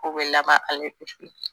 Ko bɛ laban